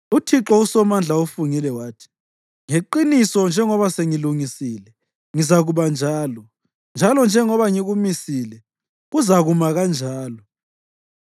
UThixo uSomandla ufungile wathi, “Ngeqiniso, njengoba sengilungisile, kuzakuba njalo, njalo njengoba ngikumisile kuzakuma kanjalo.